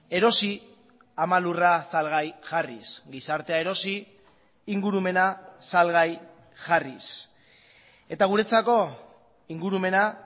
erosi ama lurra salgai jarriz gizartea erosi ingurumena salgai jarriz eta guretzako ingurumena